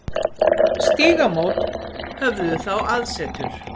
Stígamót höfðu þá aðsetur.